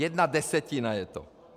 Jedna desetina je to.